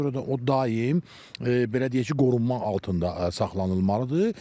Ona görə də o daim belə deyək ki, qorunmaq altında saxlanılmalıdır.